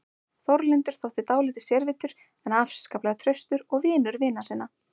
Þórlindur þótti dálítið sérvitur en afskaplega traustur og vinur vina sinna.